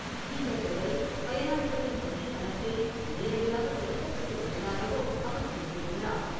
இந்தத் தொகை, பயனாளிகளின் வங்கிக் கணக்கில் நேரடியாக செலுத்தப்பட்டு விட்டதாகவும் அவர் குறிப்பிட்டுள்ளார்.